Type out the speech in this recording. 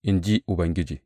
in ji Ubangiji.